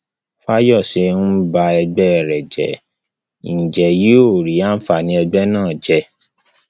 fàyọṣe ń ba ẹgbẹ rẹ jẹ ń jẹ yóò rí àǹfààní ẹgbẹ náà jẹ